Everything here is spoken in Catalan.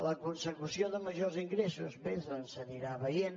la consecució de majors ingressos bé doncs s’anirà veient